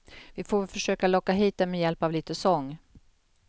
Vi får väl försöka locka hit den med hjälp av lite sång.